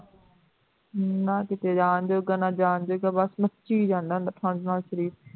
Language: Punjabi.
ਨਾ ਕਿਤੇ ਜਾਣ ਜੋਗਾ ਨਾ ਜਾਣਦੇ ਗਾ ਬਸ ਮੱਛੀ ਜਾਣਦਾ ਠੰਡ ਨਾਲ ਸਰੀਰ